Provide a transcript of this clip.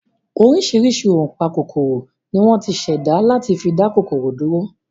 Oríṣiríṣi ọ̀npákòkòrò ni wọ́n ti ṣẹ̀dá láti fi dá kòkòrò dúró